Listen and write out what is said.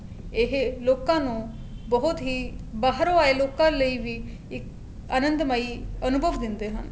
ਇਹ ਲੋਕਾ ਨੂੰ ਬਹੁਤ ਹੀ ਬਾਹਰੋ ਆਏ ਲੋਕਾ ਲਾਈ ਵੀ ਇੱਕ ਅਨੰਦ ਮਈ ਅਨੁਭਵ ਦਿੰਦੇ ਹਨ